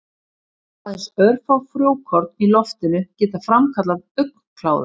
Aðeins örfá frjókorn í loftinu geta framkallað augnkláða.